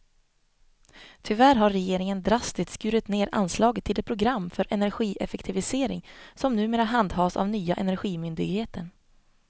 Tyvärr har regeringen drastiskt skurit ned anslaget till det program för energieffektivisering som numera handhas av nya energimyndigheten.